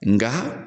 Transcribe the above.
Nga